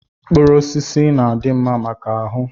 Mkpụrụ osisi na-adị mma maka ahụ.